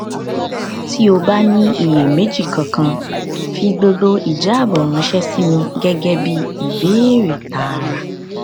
tí o bá ní ìyèméjì kankan fi gbogbo ìjábọ ránṣẹ sí mi gẹgẹ bí ìbéèrè tààrà